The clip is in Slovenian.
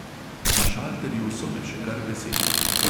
Na šalterju so me še kar veseli.